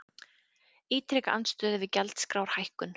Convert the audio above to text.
Ítreka andstöðu við gjaldskrárhækkun